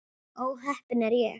Ó heppin er ég.